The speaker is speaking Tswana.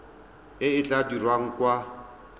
e e tla dirwang kwa